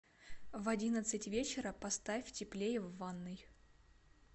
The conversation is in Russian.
в одиннадцать вечера поставь теплее в ванной